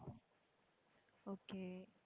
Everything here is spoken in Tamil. okay